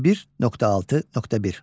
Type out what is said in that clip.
21.6.1.